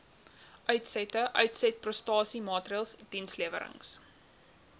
uitsette uitsetprestasiemaatreëls dienslewerings